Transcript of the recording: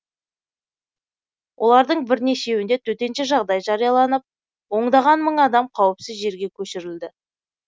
олардың бірнешеуінде төтенше жағдай жарияланып ондаған мың адам қауіпсіз жерге көшірілді